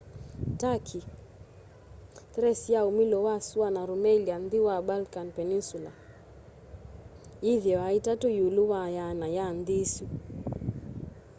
turkey thrace ya umilo wa sũana rumelia nthi wa balkan peninsula yithiawa 3 iũlũ wa 100 ya nthi isũ